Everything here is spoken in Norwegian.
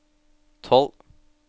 tolv